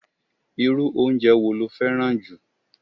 Irú oúnje wo lo féràn ju?